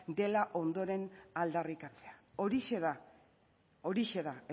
dela ondoren aldarrikatzea horixe da horixe da